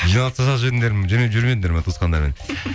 жиналыс жібермедіңдер ме туысқандармен